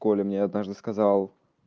коля мне однажды сказал